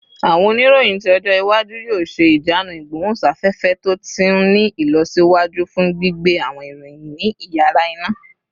Awọn oniroyin ti ọjọ iwaju yoo ṣe ijanu igbohunsafefe to ti ni ilọsiwaju fun gbigbe awọn iroyin ni iyara-ina